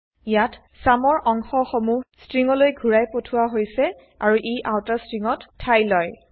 ইয়াত চুম ৰ অংশ সমুহ স্ট্ৰিংগলৈ ঘুৰাই পঠোৱা হৈছে আৰু ই আউটাৰ স্ট্ৰিংগত ঠাই লয়